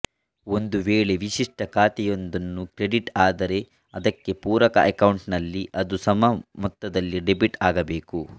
ಒಂದು ವೇಳೆ ವಿಶಿಷ್ಟ ಖಾತೆಯೊಂದನ್ನು ಕ್ರೆಡಿಟ್ ಆದರೆ ಅದಕ್ಕೆ ಪೂರಕ ಅಕೌಂಟ್ಸ್ ನಲ್ಲಿ ಅದು ಸಮ ಮೊತ್ತದಲ್ಲಿ ಡೆಬಿಟ್ ಆಗಬೇಕು